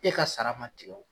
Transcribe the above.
E ka sara ma tigɛ o.